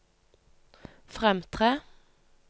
fremtre